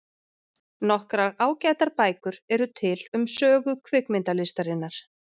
Nokkrar ágætar bækur eru til um sögu kvikmyndalistarinnar.